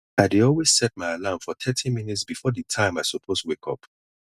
i dey always set my alarm for thirty minutes before di time i suppose wake up